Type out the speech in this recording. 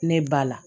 Ne ba la